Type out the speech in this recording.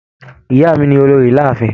Ìyá mí ni olórí láàfin.